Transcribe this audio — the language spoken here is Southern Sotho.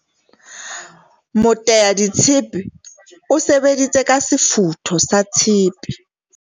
Moteaditshepe o sebeditse ka sefutho sa tshepe.